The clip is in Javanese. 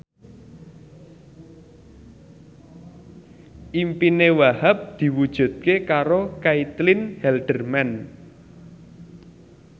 impine Wahhab diwujudke karo Caitlin Halderman